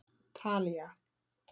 Talía